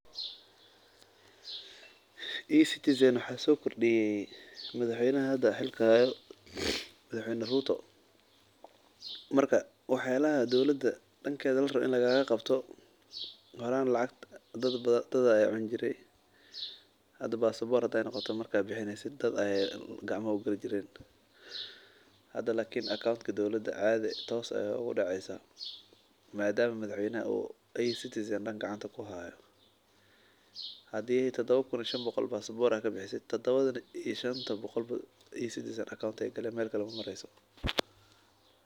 E-citizen waxaa sokordiye madax weynaha hada xilka hayo , madaxweyna Ruto. Marka waxyalaha danka dowlada larawo in lagalaqabyo horan lacagta dad ayaa cuni jire hada passport haday noqoto maekad bixineysid dad ayaa gacmaha ugali jiren hada lakin akuntki dowlada tos ay ugudaceysaah . hadi tadha kun iyo shan boqol aa passport kubisid E-citizen akonta ay gali mel kale maamreyso.